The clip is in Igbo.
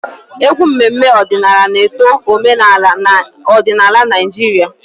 Egwu mmemme ọdịnala na-eto omenala na odinaala Naijiria.